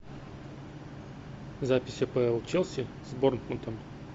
запись апл челси с борнмутом